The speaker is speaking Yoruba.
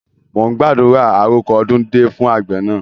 Mo ń gbàdúrà "àrọko ọdún dé" fún àgbẹ̀ náà.